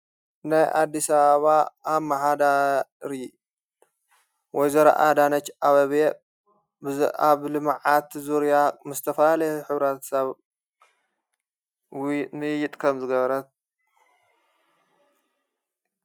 ናይ ኣዲሲ አበባ ኣብ መሓዳሪ ወይዘረ ኣዳነትች ኣበብየ ብኣብ ልመዓቲ ዙርያ ምስ ዝተፈለልየ ኅብረት ሰብዊ ንይጥከም ዘገበረት እዩ።